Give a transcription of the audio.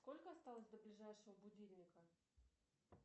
сколько осталось до ближайшего будильника